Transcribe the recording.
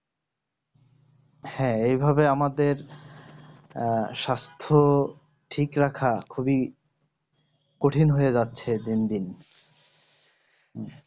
হ্যাঁ এভাবে আমাদের আহ স্বাস্থ্য ঠিক রাখা খুবই কঠিন হয়ে যাচ্ছে দিন দিন